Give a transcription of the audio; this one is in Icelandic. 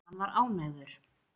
En hann var ánægður.